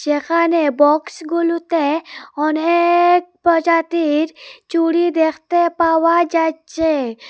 এখানে বক্সগুলোতে অনেক প্রজাতির চুরি দেখতে পাওয়া যাচ্ছে।